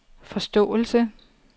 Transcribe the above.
forståelse